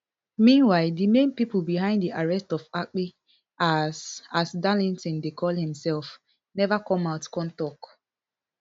meanwhile di main pipo behind di arrest of akpi as as darlington dey call imsef neva come out come tok